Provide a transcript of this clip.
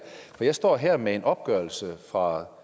for jeg står her med en opgørelse fra